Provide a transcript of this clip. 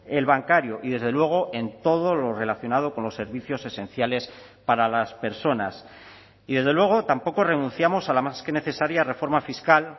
el bancario y desde luego en todo lo relacionado con los servicios esenciales para las personas y desde luego tampoco renunciamos a la más que necesaria reforma fiscal